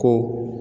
Ko